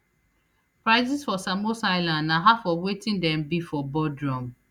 prices for samos island na half of wetin dem be for bodrum